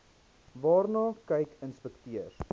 waarna kyk inspekteurs